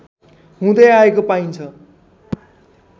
हुँदै आएको पाइन्छ